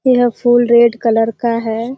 यह फूल red colour का है।